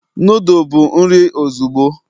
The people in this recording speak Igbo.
noodle bụ nri ozugbo